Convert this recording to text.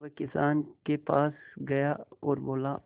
वह किसान के पास गया और बोला